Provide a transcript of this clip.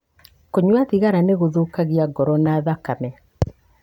Kũnyua thigara nĩ gũthũkagia ngoro na thakame.